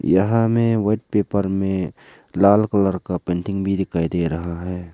यहां हमें white paper में लाल कलर का पेंटिंग भी दिखाई दे रहा है।